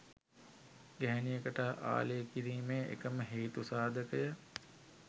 ගැහැණියකට ආලය කිරීමේ එකම හේතු සාධකය